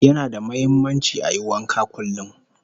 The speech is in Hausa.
Yana da muhimmanci ayi wanka kullum